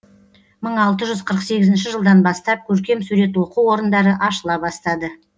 мың алты жүз қырық сегізінші жылдан бастап көркем сурет оқу орындары ашыла бастады